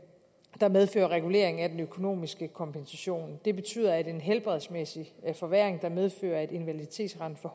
der medfører regulering af den økonomiske kompensation det betyder at en helbredsmæssig forværring der medfører at invaliditetsrenten